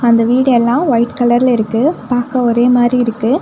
அந்த வீடு எல்லா ஒயிட் கலர்ல இருக்கு பாக்க ஒரே மாரி இருக்கு.